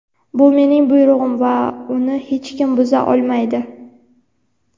Bu mening buyrug‘im va uni hech kim buza olmaydi.